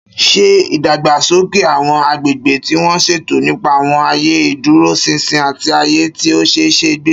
Ṣé ìdàgbàsókè àwọn agbègbè tí wọ́n ṣètò nípa àwọn ààyè ìdúróṣinṣin àti ààyè tí ó ṣe é gbé?